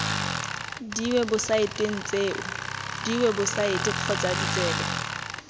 diwebosaeteng tseo diwebosaete kgotsa ditsebe